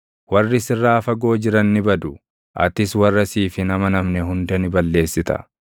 Warri sirraa fagoo jiran ni badu; atis warra siif hin amanamne hunda ni balleessita.